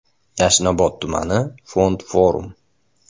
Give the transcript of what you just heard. Yashnobod tumani: Fond Forum.